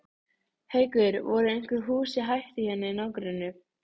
Haukur: Voru einhver hús í hættu hérna í nágrenninu?